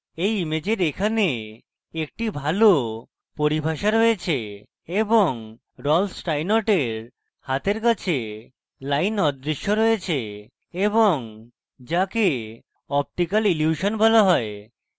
এই ইমেজের এখানে একটি ভালো পরিভাষা রয়েছে এবং রল্ফ স্টাইনর্টের হাতের কাছে line অদৃশ্য রয়েছে এবং যাকে optical ইলিউশন বলা has